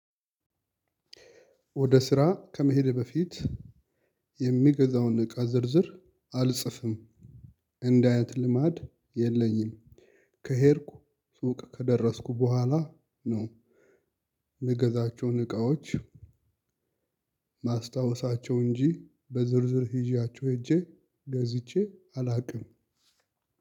ወደ ስራ ከመሄድ በፊት የሚገዛውን እቃ ዝርዝር አልጽፍም እንደ አይነት ልማድ የለኝም። ከሄድኩ ሱቅ ከደረስኩ በኋላ ነው። የምገዛቸውን እቃዎች ማስታወሳቸው እንጂ በዝርዝር ይዣቸው ሄጄ ገዝቼ አላውቅም።